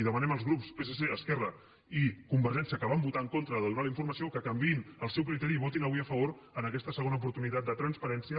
demanem als grups psc esquerra i convergència que van votar en contra de donar la informació que canviïn el seu criteri i hi votin avui a favor en aquesta segona oportunitat de transparència